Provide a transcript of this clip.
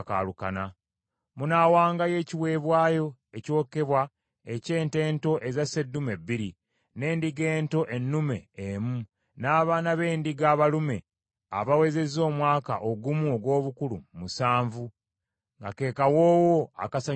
Munaawangayo ekiweebwayo ekyokebwa eky’ente ento eza sseddume bbiri, n’endiga ento ennume emu, n’abaana b’endiga abalume abawezezza omwaka ogumu ogw’obukulu musanvu, nga ke kawoowo akasanyusa Mukama Katonda.